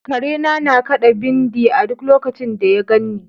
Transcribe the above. Karena na kaɗa bindi a duk lokacin da ya ganni.